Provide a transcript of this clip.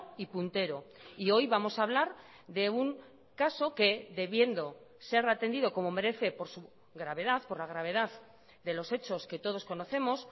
y puntero y hoy vamos a hablar de un caso que debiendo ser atendido como merece por su gravedad por la gravedad de los hechos que todos conocemos